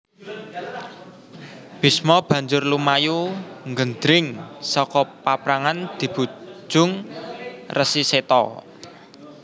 Bisma banjur lumayu nggendring saka paprangan dibujung Resi Seta